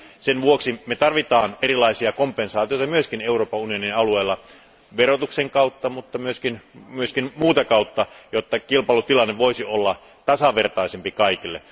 Sen vuoksi me tarvitsemme erilaisia kompensaatioita myös Euroopan unionin alueella verotuksen kautta, mutta myös muuta kautta, jotta kilpailutilanne voisi olla tasavertaisempi kaikille.